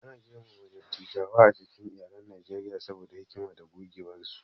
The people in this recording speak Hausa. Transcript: Ana girmama dattawa a cikin iyalan Najeriya saboda hikima da gogewarsu.